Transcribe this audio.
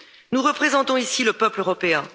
Nous représentons ici le peuple européen.